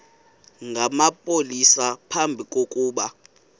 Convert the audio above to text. namapolisa phambi kokuba